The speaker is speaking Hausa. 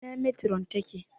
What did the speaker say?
Ina metiron ta ke?